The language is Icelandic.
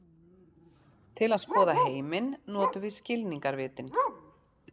Til að skoða heiminn notum við skilningarvitin.